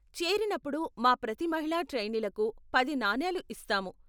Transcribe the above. చేరినప్పుడు మా ప్రతి మహిళా ట్రైనీలకు పది నాణేలు ఇస్తాము.